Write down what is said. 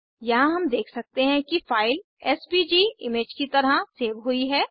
यहाँ हम देख सकते हैं कि फाइल एसवीजी इमेज की तरह सेव हुई है